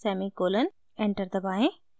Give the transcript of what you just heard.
enter दबाएं